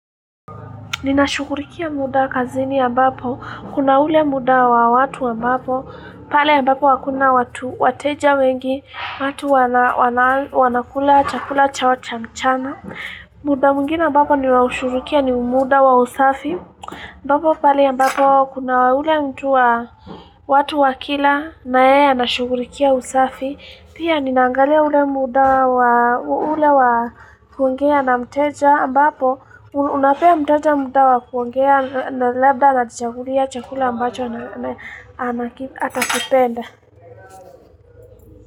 Ninashukurikia muda kazini ambapo, kuna ule muda wa watu ambapo, pale ambapo wakuna watu wateja wengi, watu wanakula chakula cha wachamchana muda mungina ambapo niwa ushukurikia ni umuda wa usafi mbapo pale ambapo kuna ule mtu wa watu wakila na ee anashukurikia usafi pia ni nangalia ule muda wa ule wa kuongea na mteja ambapo unapea mteja muda wa kuongea na labda na chakulia chakula ambacho ana kipenda.